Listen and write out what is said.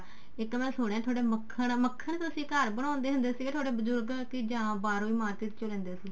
ਇੱਕ ਮੈਂ ਸੁਣਿਆ ਥੋਡੇ ਮੱਖਣ ਮੱਖਣ ਤੁਸੀਂ ਘਰ ਬਣਾਉਂਦੇ ਹੁੰਦੇ ਥੋਡੇ ਬਜੁਰਗ ਜਾਂ ਬਾਹਰੋਂ ਹੀ market ਚੋਂ ਲੈਂਦੇ ਸੀ